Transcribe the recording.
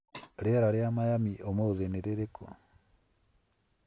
rĩera rĩa Miami ũmũthĩ nĩ rĩrĩkũ